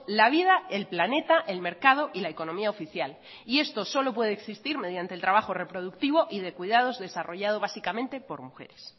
la vida el planeta el mercado y la economía oficial y esto solo puede existir mediante el trabajo reproductivo y de cuidados desarrollado básicamente por mujeres